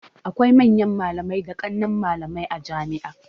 Akwai manyan malamai da ƙanan malamai a jami'a